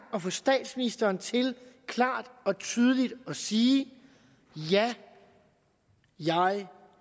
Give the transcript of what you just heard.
få statsministeren til klart og tydeligt at sige ja jeg